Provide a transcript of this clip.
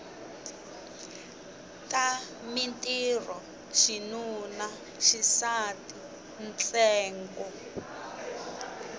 ta mintirho xinuna xisati ntsengo